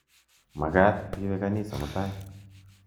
Makat iwe kanisa mutai.